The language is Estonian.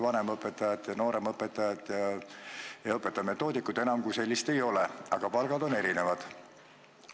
Vanemõpetajat, nooremõpetajat ja õpetaja-metoodikut kui sellist enam ei ole, aga palgad on erinevad.